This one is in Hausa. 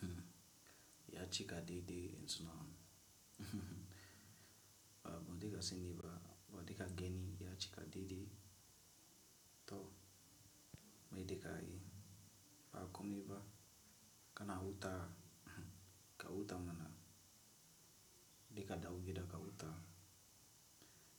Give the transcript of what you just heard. Hm, ya cika didi inso nan. Ba ba dai ka sani ba, ba deka genni ya cika didi to maidi ka yi. Ba komi ba kana huta, ka huta mana, dika dawu gida ka huta.